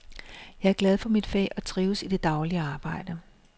Jeg er glad for mit fag og trives i det daglige arbejde.